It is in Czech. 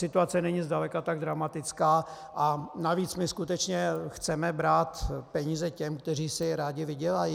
Situace není zdaleka tak dramatická, a navíc - my skutečně chceme brát peníze těm, kteří si je rádi vydělají?